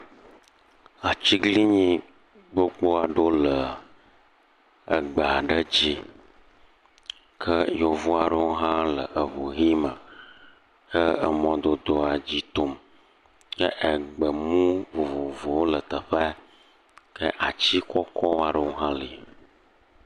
Atsiglinyi gbogbo aɖewo leee eggbe aɖe dzi. ke Yevu aɖewo hã le eŋu yi me he emɔdodoa dzi tom. Ke egbemu vovovowo le teƒea. Ke atsi kɔkɔ aɖewo hã li.